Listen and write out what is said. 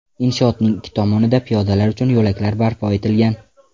Inshootning ikki tomonida piyodalar uchun yo‘laklar barpo etilgan.